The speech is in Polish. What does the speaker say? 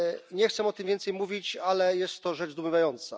Nie chcę o tym więcej mówić, ale jest to rzecz zdumiewająca.